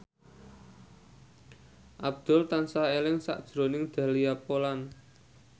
Abdul tansah eling sakjroning Dahlia Poland